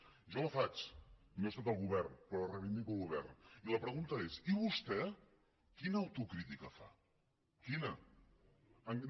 jo la faig no he estat al govern però reivindico el govern i la pregunta és i vostè quina autocrítica fa quina no